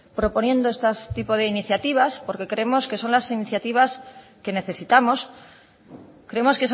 proponiendo este tipo de iniciativas porque creemos que son las iniciativas que necesitamos creemos